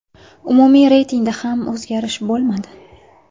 Umumiy reytingda ham o‘zgarish bo‘lmadi.